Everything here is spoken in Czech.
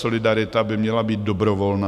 Solidarita by měla být dobrovolná.